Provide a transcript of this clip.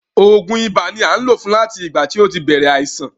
Oògùn ibà ni a ń lò fún láti ìgbà tí ó ti bèrè àìsàn.